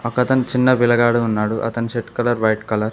అతని చిన్న వెలగాడు ఉన్నాడు అతని షర్ట్ కలర్ వైట్ కలర్ .